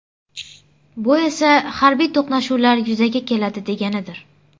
Bu esa harbiy to‘qnashuvlar yuzaga keladi deganidir.